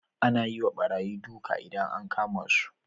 Ana yiwa barayi duka idan an kama su